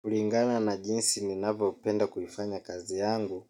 Kulingana na jinsi ninavyopenda kuifanya kazi yangu,